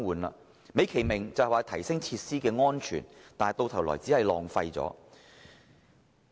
政府美其名是令設施更安全，但到頭來只是浪費。